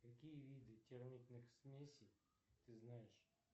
какие виды термитных смесей ты знаешь